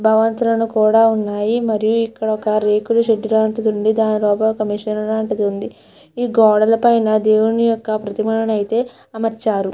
భవంతులు కూడా ఉన్నాయి. మరియు ఇక్కడ ఒక రేకుల షెడ్డు లాంటిది ఉంది. దాని దగ్గర ఒక మిషను లాంటిది ఉంది. ఈ గోడల పైన దేవుడి యొక్క ప్రతిమలను అయితే అమర్చారు.